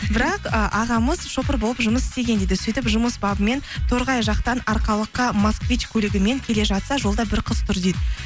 бірақ ы ағамыз шопыр болып жұмыс істеген дейді сөйтіп жұмыс бабымен торғай жақтан арқалыққа москвич көлігімен келе жатса жолда бір қыз тұр дейді